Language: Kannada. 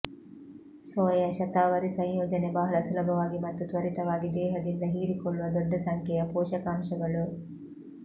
ಸೋಯಾ ಶತಾವರಿ ಸಂಯೋಜನೆ ಬಹಳ ಸುಲಭವಾಗಿ ಮತ್ತು ತ್ವರಿತವಾಗಿ ದೇಹದಿಂದ ಹೀರಿಕೊಳ್ಳುವ ದೊಡ್ಡ ಸಂಖ್ಯೆಯ ಪೋಷಕಾಂಶಗಳು